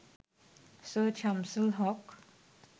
Syed Shamsul Haque